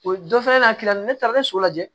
O dɔ fana na tila ne taara ne so lajɛ